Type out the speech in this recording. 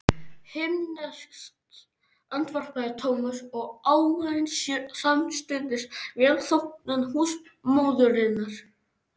Himneskt andvarpaði Thomas og ávann sér samstundis velþóknun húsmóðurinnar.